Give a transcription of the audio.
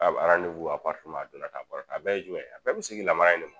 a donna ta a bɔra tan a bɛɛ ye jumɛn ye a bɛɛ bɛ segin namaraya in ne ma.